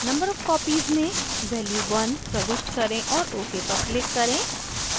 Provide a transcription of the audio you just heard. number of copies में value 1 प्रविष्ट करें और ok पर click करें